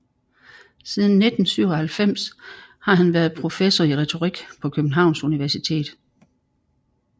Siden 1997 har han været professor i retorik på Københavns Universitet